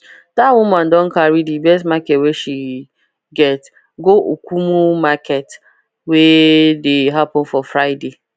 that woman don carry the best market wey she get go okumu market wey dey happen for friday